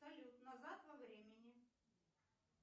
салют назад во времени